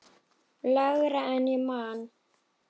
Lægra en ég man.